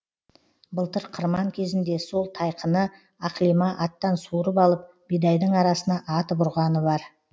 былтыр қырман кезінде сол тайқыны ақлима аттан суырып алып бидайдың арасына атып ұрғаны бар